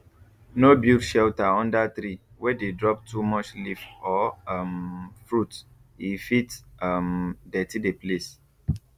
no build shelter under tree wey dey drop too much leaf or um fruit e fit um dirty the place